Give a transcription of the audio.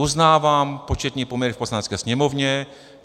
Uznávám početní poměry v Poslanecké sněmovně.